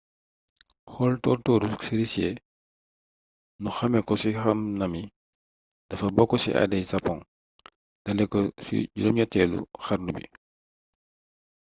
xool tóor-tóoru cerisier ñu xamee ko ci hanami dafa bokk ci aaday waa japon dalee ko ci 8eelu xarnu bi